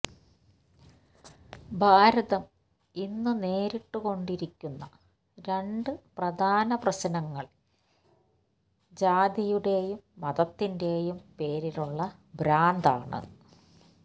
ഭാരതം ഇന്നു നേരിട്ടുകൊണ്ടിരിക്കുന്ന രണ്ടു പ്രധാന പ്രശ്നങ്ങള് ജാതിയുടെയും മതത്തിന്റെയും പേരിലുള്ള ഭ്രാന്താണ്